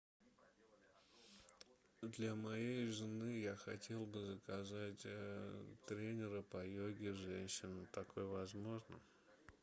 для моей жены я хотел бы заказать тренера по йоге женщину такое возможно